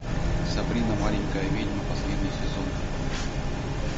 сабрина маленькая ведьма последний сезон